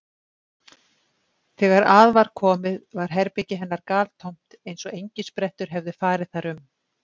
Þegar að var komið var herbergi hennar galtómt eins og engisprettur hefðu farið þar um.